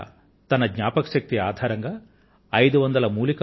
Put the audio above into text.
ఆమె తన స్మృతి ఆధారంగా ఐదు వందల మూలికా ఔషధాలను తయారు చేశారు